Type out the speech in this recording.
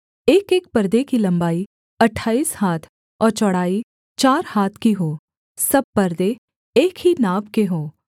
एकएक परदे की लम्बाई अट्ठाईस हाथ और चौड़ाई चार हाथ की हो सब परदे एक ही नाप के हों